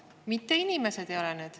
Mitte inimesed ei ole need.